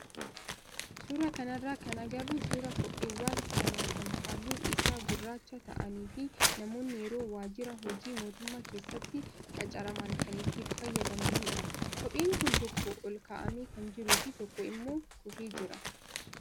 Suuraa kanarraa kan agarru suuraa kopheewwan lamaa kan halluun isaa gurraacha ta'anii fi namoonni yeroo waajjira hojii mootummaa keessatti qacaraman kan itti fayyadamanidha. Kopheen kun tokko ol kaa'amee kan jiruu fi tokko immoo kufee jira.